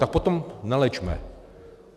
Tak potom neléčme.